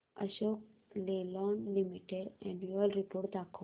Ashok Leyland limited annual report दाखव